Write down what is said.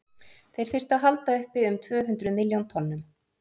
þeir þyrftu að halda uppi um tvö hundruð milljón tonnum